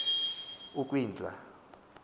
ukwindla